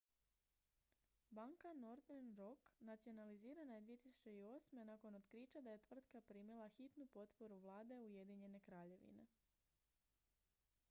banka northern rock nacionalizirana je 2008. nakon otkrića da je tvrtka primila hitnu potporu vlade ujedinjene kraljevine